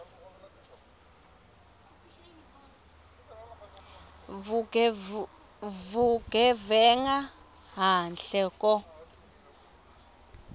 vugevenga handle ko